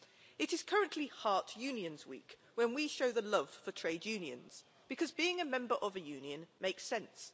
It is currently HeartUnions week when we show the love for trade unions because being a member of a union makes sense.